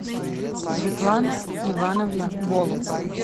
светлана ивановна голуб